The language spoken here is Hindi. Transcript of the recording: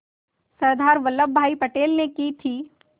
सरदार वल्लभ भाई पटेल ने की थी